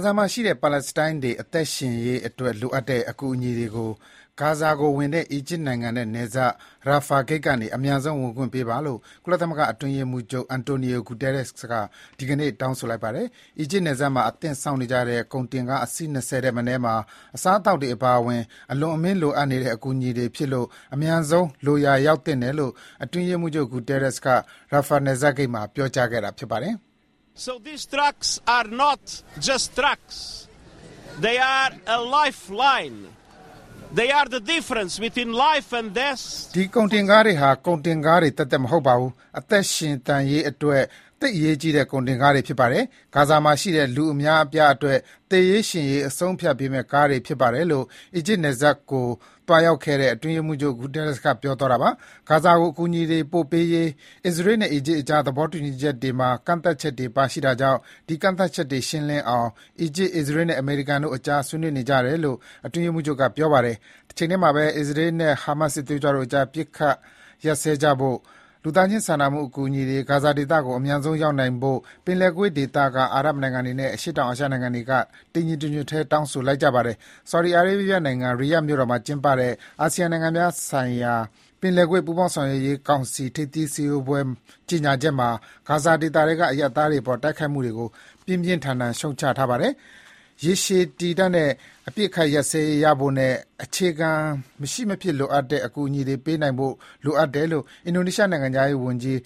ဇာမှာရှိတဲ့ ပါလက်စတိုင်းတွေ အသက်ရှင်သန်ရေးအတွက်လိုအပ်တဲ့ အကူအညီတွေကို ဂါဇာကိုဝင်တဲ့ အီဂျစ်နိုင်ငံနဲ့ နယ်စပ် Rafah ဂိတ်ကနေ အမြန်ဆုံး ဝင်ခွင့်ပေးပါလို့ ကုလသမဂ္ဂအတွင်းရေးမှူးချုပ် Antonio Guterres က ဒီကနေ့ တောင်းဆိုလိုက်ပါတယ်။ အီဂျစ်နယ်စပ်မှာ အသင့်စောင့်နေကြတဲ့ ကုန်တင်ကား အစီး ၂၀ ထက်မနည်းမှာ အစားအသောက်တွေအပါအဝင် အလွန်အမင်း လိုအပ်နေတဲ့ အကူအညီတွေဖြစ်လို့ အမြန်ဆုံး လိုရာရောက်သင့်တယ်လို့ အတွင်းရေးမှူးချုပ် Guterres က Rafah နယ်စပ်ဂိတ်မှာ ပြောကြားခဲ့တာဖြစ်ပါတယ်။ “ဒီကုန်တင်ကားတွေဟာ ကုန်တင်ကားတွေ သက်သက်မဟုတ်ပါဘူး။ အသက်ရှင်သန်ရေးအတွက် သိပ်အရေးကြီးတဲ့ ကုန်တင်ကားတွေဖြစ်ပါတယ်။ ဂါဇာမှာရှိတဲ့ လူအများအပြားအတွက် သေရေး ရှင်ရေး အဆုံးအဖြတ်ပေးမဲ့ ကားတွေဖြစ်ပါတယ်" လို့ အီဂျစ်နယ်စပ်ကို သွားရောက်ခဲ့တဲ့ အတွင်းရေးမှူးချုပ် Guterres က ပြောသွားပါတယ်။ ဂါဇာကို အကူအညီတွေပေးပို့ရေး အစ္စရေးနဲ့ အီဂျစ်နိုင်ငံကြား သဘောတူညီချက်တွေမှာ ကန့်သတ်ချက်တွေ ပါရှိတာကြောင့် ဒီကန့်သတ်ချက်တွေ ရှင်းလင်းအောင်လည်း အီဂျစ်၊ အစ္စရေးနဲ့ အမေရိကန်နိုင်ငံတွေကြား ဆွေးနွေးနေကြတယ်လို့ အတွင်းရေးမှူးချုပ်က ပြောပါတယ်။ တချိန်ထဲမှာဘဲ အစ္စရေးနဲ့ ဟာမတ်စစ်သွေးကြွတို့အကြား အပစ်အခတ် ရပ်စဲကြဖို့နဲ့ လူသားချင်းစာနာမှု အကူအညီတွေ ဂါဇာဒေသကို အမြန်ဆုံး ရောက်နိုင်ဖို့ ပင်လယ်ကွေ့ဒေသက အာရပ်နိုင်ငံတွေနဲ့ အရှေ့တောင်အာရှနိုင်ငံတွေက တညီတညွတ်ထဲ တောင်းဆိုလိုက်ကြပါတယ်။ Saudi Arabia နိုင်ငံ Riyadh မြို့တော်မှာ ဒီနေ့ကျင်းပတဲ့ အာဆီယံနိုင်ငံများဆိုင်ရာ ပင်လယ်ကွေ့ပူးပေါင်းဆောင်ရွက်ရေးကောင်စီ ထိပ်သီးဆွေးနွေးပွဲ ကြေညာချက်မှာ ဂါဇာဒေသထဲက အရပ်သားတွေအပေါ်တိုက်ခိုက်မှုကို ပြင်းပြင်းထန်ထန် ရှုတ်ချထားပါတယ်။ ရေရှည်ခံတဲ့ အပစ်အခတ်ရပ်စဲရေးရဖို့နဲ့ အခြေခံ မဖြစ်မနေလိုအပ်တဲ့ အကူအညီတွေ ပေးပို့နိုင်ဖို့ လိုအပ်တယ်လို့ အင်ဒိုနီးရှားနိုင်ငံခြားရေးဝန်ကြီး